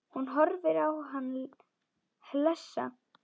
Hún horfir á hann hlessa.